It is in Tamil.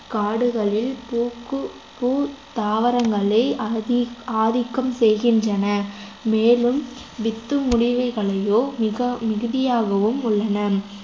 காடுகளில் பூக்கு பூ தாவரங்களே அதிக~ ஆதிக்கம் செய்கின்றன மேலும் வித்துமுடிவுகளையோ மிகா~ மிகுதியாகவும் உள்ளன